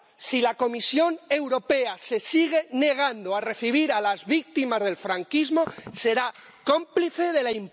Si la Comisión Europea se sigue negando a recibir a las víctimas del franquismo, será cómplice de la impunidad.